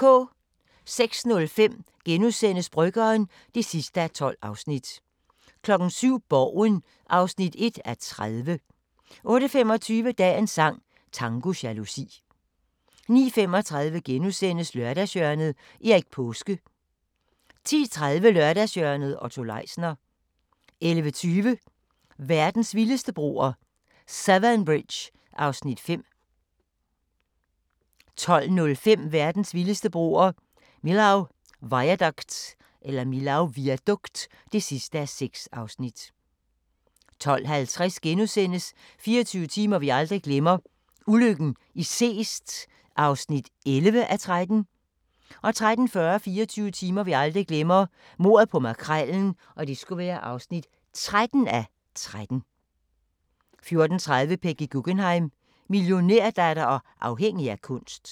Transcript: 06:05: Bryggeren (12:12)* 07:00: Borgen (1:30) 08:25: Dagens sang: Tango jalousi 09:35: Lørdagshjørnet – Erik Paaske * 10:30: Lørdagshjørnet - Otto Leisner 11:20: Verdens vildeste broer – Severn Bridge (5:6) 12:05: Verdens vildeste broer – Millau Viaduct (6:6) 12:50: 24 timer vi aldrig glemmer: Ulykken i Seest (11:13)* 13:40: 24 timer vi aldrig glemmer: Mordet på Makrellen (13:13) 14:30: Peggy Guggenheim - millionærdatter og afhængig af kunst